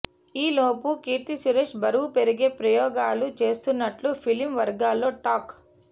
ఈలోపు కీర్తి సురేష్ బరువు పెరిగే ప్రయోగాలు చేస్తున్నట్లు ఫిలిం వర్గాలలో టాక్